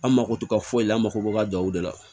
An mako tɛ ka foyi la an mako b'a ka duw de la